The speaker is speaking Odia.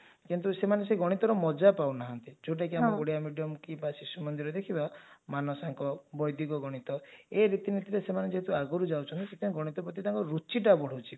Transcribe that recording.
ସେମାନେ ସେଇ ଗଣିତର ମଜା ପାଉନାହାନ୍ତି ଯାଉଟା କି ଆମର ଓଡିଆ medium କି ବା ଶିଶୁ ମନ୍ଦିର ଦେଖିବା ମାନସାଙ୍କ ବୈଦିକଗଣିତ ଏ ରୀତି ନୀତି ରେ ସେମାନେ ଯେହେତୁ ଆଗରୁ ଯାଉଛନ୍ତି ସେଥିପାଇଁ ଗଣିତ ପ୍ରତି ତାଙ୍କର ରୁଚିଟା ବହୁଛି